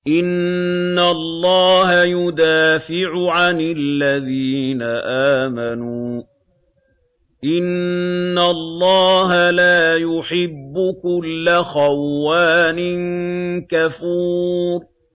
۞ إِنَّ اللَّهَ يُدَافِعُ عَنِ الَّذِينَ آمَنُوا ۗ إِنَّ اللَّهَ لَا يُحِبُّ كُلَّ خَوَّانٍ كَفُورٍ